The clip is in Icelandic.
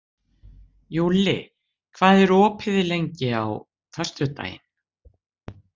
Júlli, hvað er opið lengi á föstudaginn?